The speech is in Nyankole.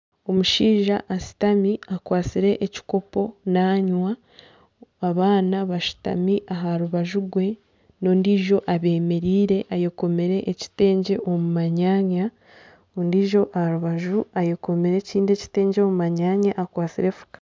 Omushaija ashutami akwatsire ekikopo nanywa abaana bashutami aha rubaju rwe n'ondiijo ayemereire ayekomire ekitengye omu manyanya ondiijo aha rubaju ayekomire ekitengye omu manyanya akwatsire enfuka